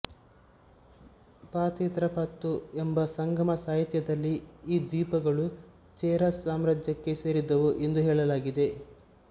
ಪಾಥಿತ್ರಪ್ಪತ್ತು ಎಂಬ ಸಂಗಮ ಸಾಹಿತ್ಯದಲ್ಲಿ ಈ ದ್ವೀಪಗಳು ಚೇರ ಸಾಮ್ರಾಜ್ಯಕ್ಕೆ ಸೇರಿದವು ಎಂದು ಹೇಳಲಾಗಿದೆ